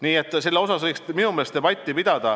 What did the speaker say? Nii et selle üle võiks minu meelest debatti pidada.